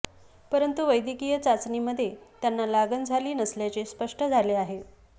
परंतु वैद्यकीय चाचणीमध्ये त्यांना लागण झाली नसल्याचे स्पष्ट झाले आहे